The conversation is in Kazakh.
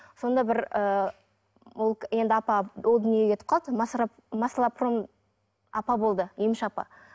сонда бір ы ол енді апа о дүниеге кетіп қалды апа болды емші апа